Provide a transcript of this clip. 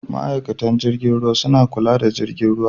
Ma'aikatan jirgin ruwa sukan kula da jirgin.